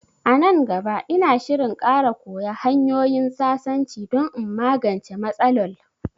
A nan gaba, ina shirin ƙara koya hanyoyin sasanci don in magance matsalol